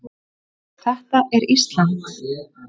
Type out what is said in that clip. Þetta er Ísland.